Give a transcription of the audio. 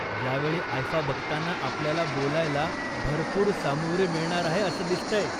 यावेळी आयफा बघताना आपल्याला बोलायला भरपूर सामुग्री मिळणार आहे असं दिसतंय.